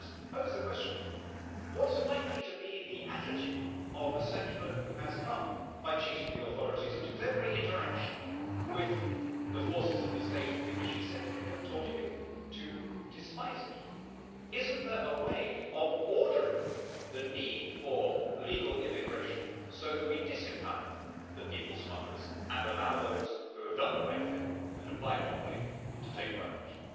Now I just pose the question, what's likely to be the attitude of a settler who has come by cheating the authorities and whose every interaction with the forces of the state in which he is settling have taught him to despise it? Isn't there a way of ordering the need for legal immigration so that we disempower the people smugglers and allow those who have done the right thing and applied properly to take priority?